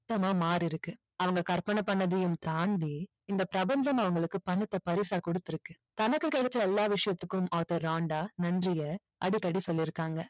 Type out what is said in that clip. மொத்தமா மாறி இருக்கு அவங்க கற்பனை பண்ணதையும் தாண்டி இந்த பிரபஞ்சம் அவங்களுக்கு பணத்தை பரிசா கொடுத்து இருக்கு தனக்கு கிடைச்ச எல்லா விஷயத்திற்கும் ஆர்தர் ராண்டா நன்றிய அடிக்கடி சொல்லிருக்காங்க